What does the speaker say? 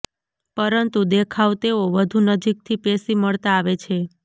પરંતુ દેખાવ તેઓ વધુ નજીકથી પેશી મળતાં આવે છે